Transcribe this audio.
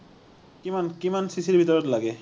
কিমান, কিমান CC ৰ ভিতৰত লাগে?